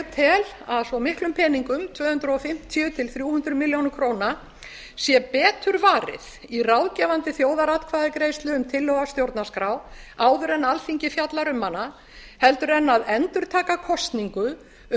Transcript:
tel að svo miklum peningum tvö hundruð fimmtíu til þrjú hundruð milljóna króna sé betur varið í ráðgefandi þjóðaratkvæðagreiðslu um tillögu að stjórnarskrá áður en alþingi fjallar um hana heldur en að endurtaka kosningu um